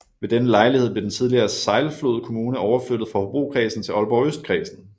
Ved denne lejlighed blev den tidligere Sejlflod Kommune overflyttet fra Hobrokredsen til Aalborg Østkredsen